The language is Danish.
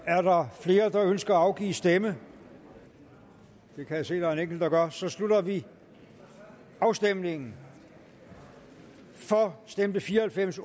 er der flere der ønsker at afgive stemme det kan jeg se der er en enkelt der gør så slutter vi afstemningen for stemte fire og halvfems